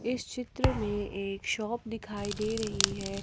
इस चित्र में एक शॉप दिखाई दे रही है।